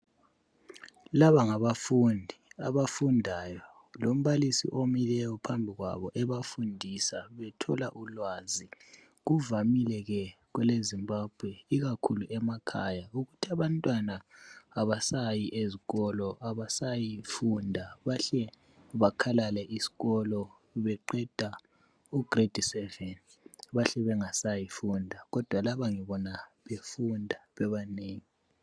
Laba ngabafundi abafundayo lombalisi omileyo phambi kwabo ebafundisa bethola ulwazi. Kuvamileke kweleZimbabwe ikakhulu emakhaya ukuthi abantwana abasayi ezikolo abasayi funda bahle bakhalale iskolo beqeda ugredi seveni bahle bangasayi funda kodwa laba ngibona befunda bebanengi.